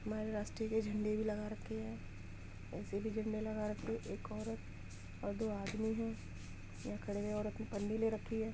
हमारे राष्ट्र के झंडे भी लगा रखे हैं ऐसे भी झंडे लगा रखे हैं | एक औरत और दो आदमी हैं यहाँ खड़े हैं। औरत ने पन्नी ले रखी है।